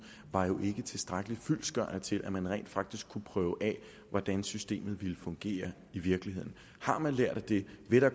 var jo ikke tilstrækkeligt fyldestgørende til at man rent faktisk kunne prøve af hvordan systemet ville fungere i virkeligheden har man lært af det vil der